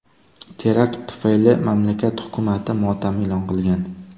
Terakt tufayli mamlakat hukumati motam e’lon qilgan.